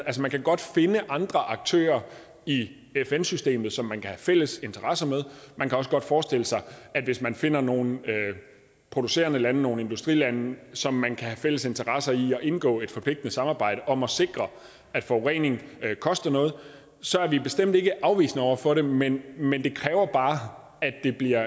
man kan godt finde andre aktører i fn systemet som man kan have fælles interesser med man kan også godt forestille sig at hvis man finder nogle producerende lande nogle industrilande som man kan have fælles interesse i at indgå i et forpligtende samarbejde med om at sikre at forurening koster noget så er vi bestemt ikke afvisende over for det men men det kræver bare at det bliver